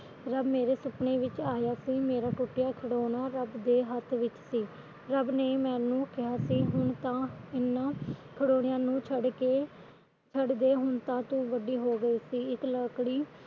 ਮੇਰੇ ਸੁਪਣੇ ਵਿੱਚ ਆਇਆ ਸੀ ਮੇਰਾ ਟੁਟਿਆ ਖਿਡੋਣਾ ਰੱਬ ਦੇ ਹੱਥ ਵਿੱਚ ਸੀ ਰੱਬ ਨੇ ਮੈਨੂੰ ਕਿਹਾ ਸੀ ਹੁਣ ਤਾ ਇਹਨਾ ਖਿਡੋਣਿਆ ਨੂੰ ਛੱਡ ਕੇ ਛੱਡ ਦੇ ਹੁਣ ਤਾ ਤੂੰ ਵੱਡੀ ਹੋ ਗਈ ਸੀ ਇਸ ਲੱਕੜੀ